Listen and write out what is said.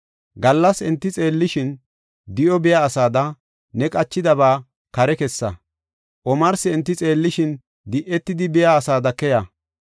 Gallas enti xeellishin, di7o biya asada, ne qachidaba kare kessa; omarsi enti xeellishin, di7etidi biya asada keya.